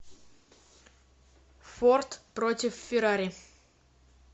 форд против феррари